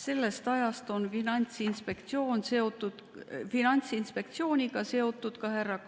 Sellest ajast on Finantsinspektsiooniga olnud seotud ka härra